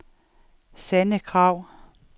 Sanne Kragh